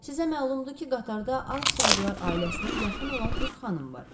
Sizə məlumdur ki, qatarda Armstronglar ailəsinə yaxın olan bir xanım var.